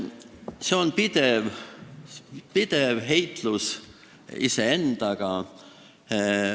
See on pidev heitlus iseendaga.